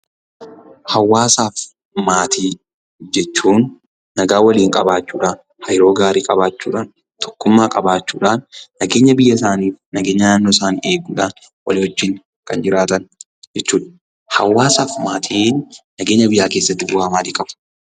Hawaasaaf maatii jechuun nagaa waliin qabaachuudhan, hariiroo gaarii qabaachuudhan tokkummaa qabaachuudhaan nageenya biyyasaanii, nageenya naannoosaanii eeguudhaan waliiwajjin kan jiraatan jechuudha. Hawaasaaf maatiin nageenya biyyaa keessatti bu'aa maalii qaba?